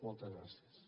moltes gràcies